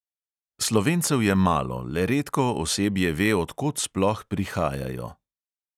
Slovencev je malo, le redko osebje ve, od kod sploh prihajajo.